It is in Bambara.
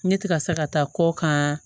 Ne ti ka se ka taa kɔ kan